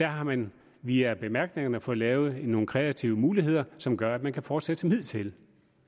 har man via bemærkningerne fået lavet nogle kreative muligheder som gør at man kan fortsætte som hidtil